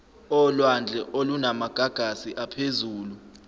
olwandle olunamagagasi aphezulu